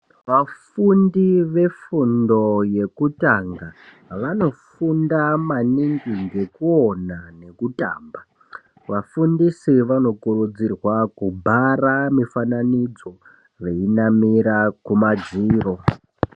Vafundi vefundo yekutanga vanofunda maningi ngekuona nekutamba . Vafundisi vanokurudzirwa kuvhara mufananidzo vainyora kumadziro